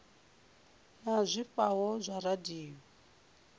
na zwifhao zwa radio ya